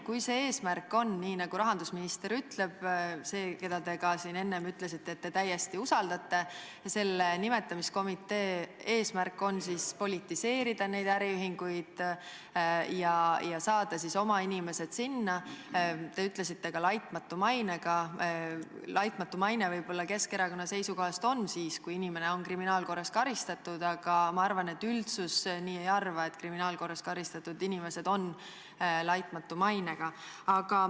Kui eesmärk on, nii nagu rahandusminister ütleb – keda, te ka siin enne ütlesite, te täiesti usaldate –, selle nimetamiskomitee eesmärk on politiseerida neid äriühinguid ja saada oma inimesed sinna, ning te ütlesite, et ka laitmatu mainega inimesed, siis laitmatu maine võib-olla Keskerakonna seisukohast on siis, kui inimene on kriminaalkorras karistatud, aga ma arvan, et üldsus nii ei arva, et kriminaalkorras karistatud inimesed on laitmatu mainega.